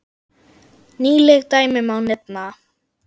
Nýleg dæmi má nefna.